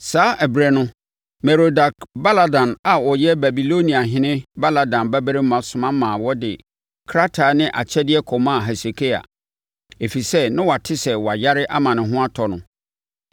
Saa ɛberɛ no Merodak-Baladan a ɔyɛ Babiloniahene Baladan babarima soma ma wɔde krataa ne akyɛdeɛ kɔmaa Hesekia, ɛfiri sɛ na wate sɛ wayare ama ne ho atɔ no.